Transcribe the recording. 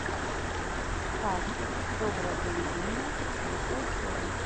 каспер доброе приведение четвертая серия